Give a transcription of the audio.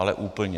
Ale úplně.